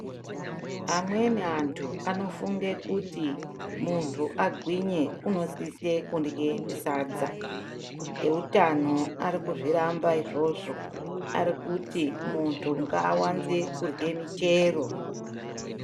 Amweni antu anofunge kuti muntu agwinye unosise kundye sadza. Eutano ari kuzviramba izvozvo. Ari kuti muntu ngaawanze kurye muchero.